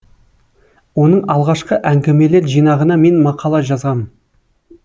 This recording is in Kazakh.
оның алғашқы әңгімелер жинағына мен мақала жазғам